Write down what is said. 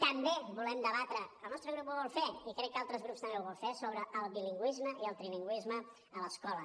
també volem debatre el nostre grup ho vol fer i crec que altres grups també ho volen fer sobre el bilingüisme i el trilingüisme a l’escola